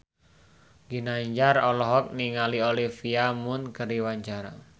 Ginanjar olohok ningali Olivia Munn keur diwawancara